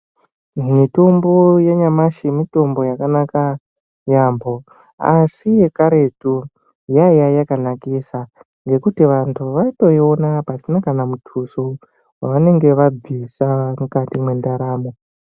Mitombo yanyamashi mitombo yakanaka yaampo asi yekaretu yaiya yakanakisa nekuti vantu vaitoiona pasina kana mutuso wavanenge vabvisa mukati mwendaramo.